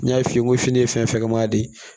N y'a f'i ye n ko fini ye fɛn fɛn maa de ye